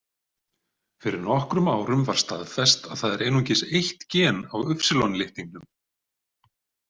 Fyrir nokkrum árum var staðfest að það er einungis eitt gen á Y-litningnum.